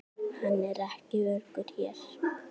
Hann er ekki öruggur hér